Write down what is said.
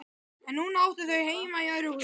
En núna áttu þau heima í öðru húsi.